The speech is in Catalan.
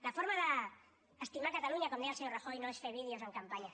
la forma d’estimar catalunya com deia el senyor rajoy no és fer vídeos en campanya